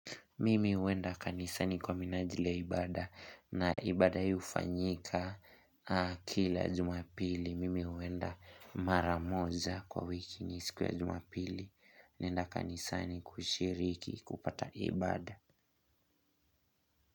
Mimi huenda kanisani kwa minajili ya ibada na ibada hii hufanyika kila jumapili. Mimi huenda mara moja kwa wiki siku ya jumapili. Naenda kanisani kushiriki kupata ibada.